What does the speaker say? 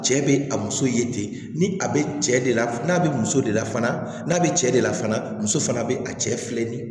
Cɛ bɛ a muso ye ten ni a bɛ cɛ de la n'a bɛ muso de la fana n'a bɛ cɛ de la fana muso fana bɛ a cɛ filɛ nin ye